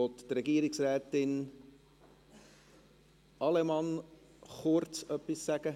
Möchte Frau Regierungsrätin Allemann kurz etwas sagen?